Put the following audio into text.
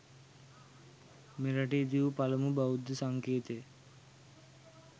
මෙරට ඉදිවූ පළමු බෞද්ධ සංකේතය